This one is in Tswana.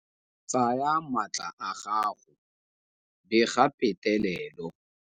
Tsaya maatla a gago, bega petelelo.